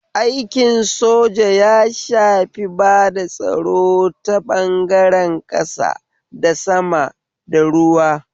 Aikin soja ya shafi bada tsaro ta ɓangaren ƙasa, da sama, da ruwa